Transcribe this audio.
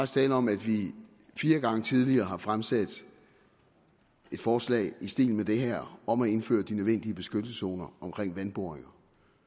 tale om at vi fire gange tidligere har fremsat et forslag i stil med det her om at indføre de nødvendige beskyttelseszoner omkring vandboringer